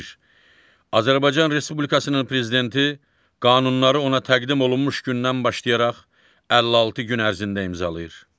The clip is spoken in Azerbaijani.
Azərbaycan Respublikasının Prezidenti qanunları ona təqdim olunmuş gündən başlayaraq 56 gün ərzində imzalayır.